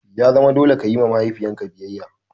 Ya zama dole ka yi wa mahaifin ka biyayya!